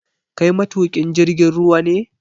Kai matuƙin jirgin ruwa ne?